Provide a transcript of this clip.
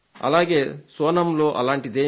సోనంలో అలాంటిదేమీ లేదు